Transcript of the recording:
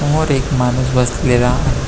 समोर एक माणूस बसलेला आ --